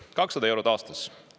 200 eurot aastas!